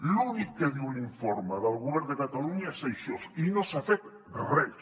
l’únic que diu l’informe del govern de catalunya és això i no s’ha fet res